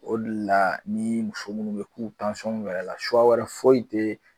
O de la ni muso munnu be yen k'u yɛla wɛrɛ fɔsi te yen